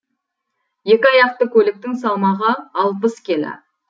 екі аяқты көліктің салмағы алпыс келі